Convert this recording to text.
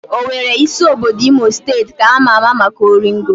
Owere, isi obodo Imo steeti, ka ama ama maka oringo